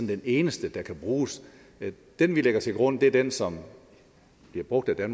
den eneste der kan bruges den vi lægger til grund er den som bliver brugt af